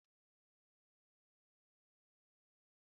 Wepụ bisiki ahụ ebe a